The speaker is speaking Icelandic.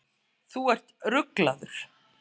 Þú ert ruglaður!